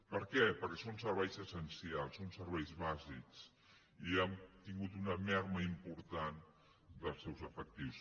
per què perquè són serveis essencials són serveis bàsics i hem tingut una minva important dels seus efectius